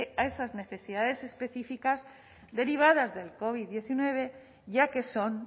a esas necesidades específicas derivadas del covid diecinueve ya que son